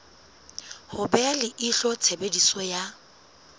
ho beha leihlo tshebediso ya